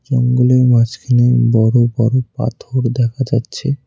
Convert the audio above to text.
জঙ্গলের মাঝখানে বড়ো বড়ো পাথর দেখা যাচ্ছে।